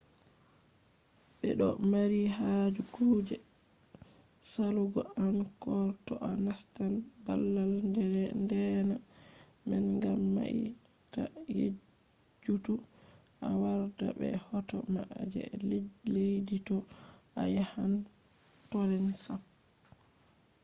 be do mari haje kuje salugo angkor to a nastan babal deena man gam mai ta yejjutu a warda be hoto ma je leddi to a yahan tonle sap